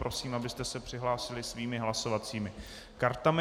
Prosím, abyste se přihlásili svými hlasovacími kartami.